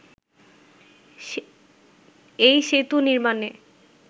এই সেতু নির্মাণে